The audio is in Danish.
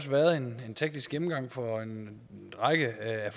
været en teknisk gennemgang for en række af